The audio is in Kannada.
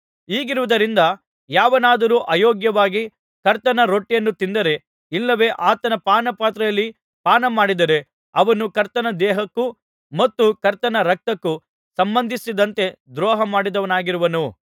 ಹೀಗಿರುವುದರಿಂದ ಯಾವನಾದರೂ ಅಯೋಗ್ಯವಾಗಿ ಕರ್ತನ ರೊಟ್ಟಿಯನ್ನು ತಿಂದರೆ ಇಲ್ಲವೆ ಆತನ ಪಾನಪಾತ್ರೆಯಲ್ಲಿ ಪಾನ ಮಾಡಿದರೆ ಅವನು ಕರ್ತನ ದೇಹಕ್ಕೂ ಮತ್ತು ಕರ್ತನ ರಕ್ತಕ್ಕೂ ಸಂಬಂಧಿಸಿದಂತೆ ದ್ರೋಹಮಾಡಿದವನಾಗಿರುವನು